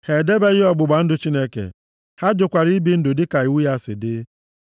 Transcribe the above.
Ha edebeghị ọgbụgba ndụ Chineke. Ha jụkwara ibi ndụ dịka iwu ya si dị.